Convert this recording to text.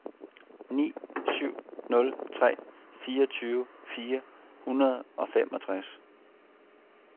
ni syv nul tre fireogtyve fire hundrede og femogtres